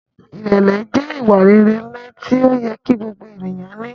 Irẹlẹ jẹ iwa-rere nla ti oyẹ ki gbogbo eniyan ni